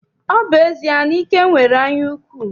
Ọ bụ ezie na Ike nwere anyaukwu?